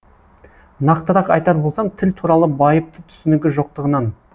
нақтырақ айтар болсам тіл туралы байыпты түсінігі жоқтығынан